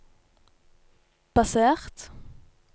basert